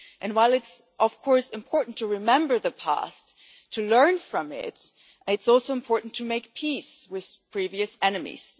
While it is of course important to remember the past and to learn from it, it is also important to make peace with previous enemies.